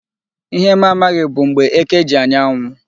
Ihe m amaghị bụ mgbe eke ji anya anwụ.